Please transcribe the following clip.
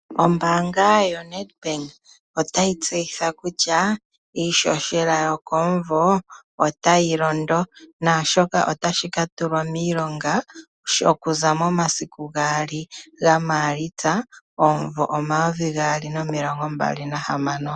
Ombaanga yoNedBank otayi tseyitha kutya iihohela yokomunvo otayi londo. Naashoka otashi ka tulwa miilonga okuza momasiku gaali gaMaalitsa omunvo omayovi gaali nomilongo mbali nahamano.